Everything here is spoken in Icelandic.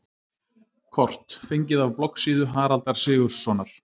Kort: Fengið af bloggsíðu Haraldar Sigurðssonar.